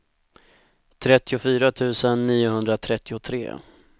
trettiofyra tusen niohundratrettiotre